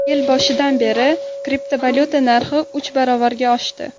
Yil boshidan beri kriptovalyuta narxi uch baravarga oshdi.